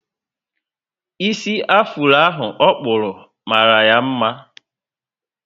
Isi afuro ahụ okpuru mara ya mma